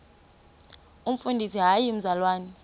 umfundisi hayi mzalwana